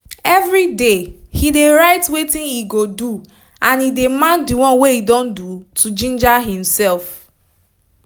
everyday him dey write wetin e go doand e dey mark d one e don do to ginger himself